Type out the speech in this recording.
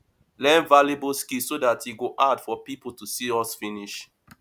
learn valuable skill so dat e go hard for pipo to see us finish